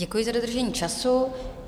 Děkuji za dodržení času.